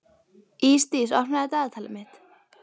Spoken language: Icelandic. Ísdís, opnaðu dagatalið mitt.